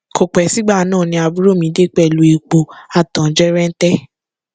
kò pẹ sígbà náà ni àbúrò mi dé pẹlú epo a tán jẹrẹǹtẹ